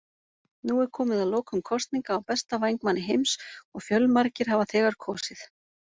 Nú er komið að lokum kosninga á besta vængmanni heims og fjölmargir hafa þegar kosið.